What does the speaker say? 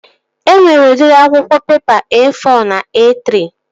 E nwere udịri akwụkwọ pepa E-fọ na E-trị